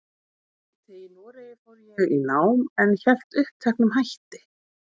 úti í Noregi fór ég í nám, en hélt uppteknum hætti.